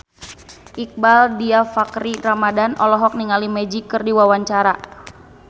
Iqbaal Dhiafakhri Ramadhan olohok ningali Magic keur diwawancara